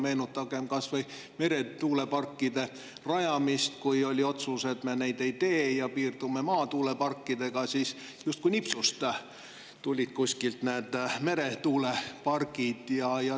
Meenutagem kas või meretuuleparkide rajamist: oli otsus, et me neid ei tee ja piirdume maatuuleparkidega, ja siis justkui nipsust tulid kuskilt meretuulepargid.